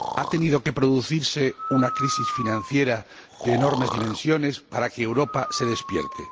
Ha tenido que producirse una crisis financiera de enormes dimensiones para que Europa se despierte.